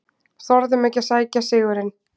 Þorðum ekki að sækja sigurinn